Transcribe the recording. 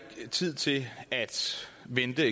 tænker